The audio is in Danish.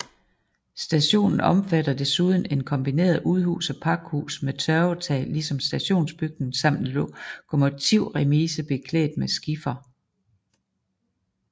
Stationen omfatter desuden et kombineret udhus og pakhus med tørvetag ligesom stationsbygningen samt en lokomotivremise beklædt med skifer